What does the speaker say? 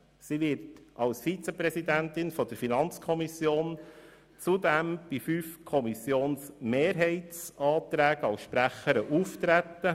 Sie wird zudem als Vizepräsidentin der FiKo zu fünf Mehrheitsanträgen auftreten.